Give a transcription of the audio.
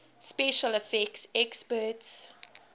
special effects experts